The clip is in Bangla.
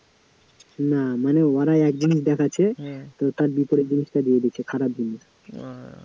না মানে ওরা এক জিনিস দেখাচ্ছে তো তার বিপরীত জিনিসটা দিয়ে দিচ্ছে, খারাপ জিনিস,